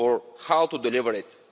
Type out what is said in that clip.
on how to deliver it.